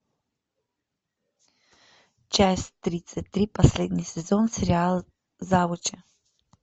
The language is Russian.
часть тридцать три последний сезон сериал завучи